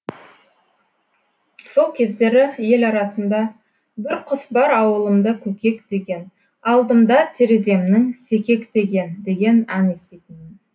сол кездері ел арасында бір құс бар ауылымда көкек деген алдымда тереземнің секектеген деген ән еститінмін